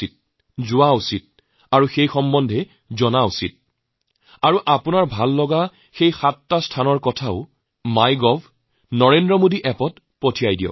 তালৈ যোৱা দৰকাৰ এই বিষয়ে জনা দৰকাৰ তেতিয়াহলে আপোনাৰ পছন্দৰ এনে সাতটি স্থান নাম MyGovত NarendraModiApp ত অৱশ্যেই পঠাব